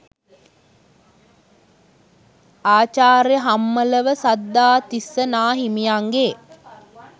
ආචාර්ය හම්මලව සද්ධාතිස්ස නා හිමියන්ගේ